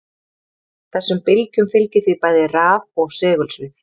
Þessum bylgjum fylgir því bæði raf- og segulsvið.